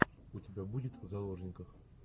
у тебя будет в заложниках